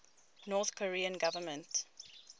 north korean government